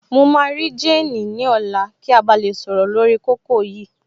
Mo máa rí jéènì ní ọ̀la kí a ba lè sọ̀rọ̀ lórí kókó yìí